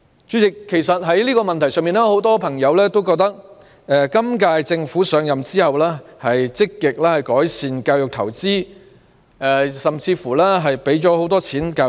代理主席，在這個問題上，很多朋友都覺得，今屆政府上任後積極改善教育投資，在教育方面投放了很多資源。